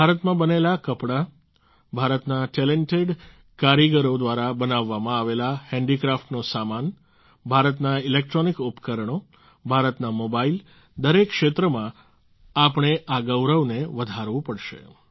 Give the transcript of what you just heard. ભારતમાં બનેલા કપડાં ભારતના ટેલેન્ટેડ કારીગરો દ્વારા બનાવવામાં આવેલા હેન્ડિક્રાફ્ટનો સામાન ભારતના ઈલેક્ટ્રોનિક ઉપકરણો ભારતના મોબાઈલ દરેક ક્ષેત્રમાં આપણે આ ગૌરવને વધારવું પડશે